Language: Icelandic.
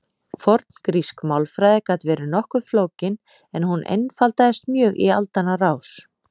Forngrísk málfræði gat verið nokkuð flókin en hún einfaldaðist mjög í aldanna rás.